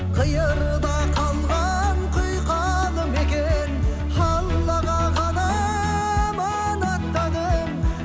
қиырда қалған құйқалы мекен аллаға ғана аманаттадым